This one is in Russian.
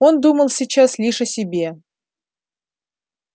он думал сейчас лишь о себе